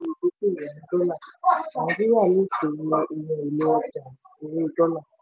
ó ṣàlàyé: tún ṣe ìdókòwò ní dọ́là; nàìjíríà lè ṣòwò ohun èlò ọjà owó dọ́là.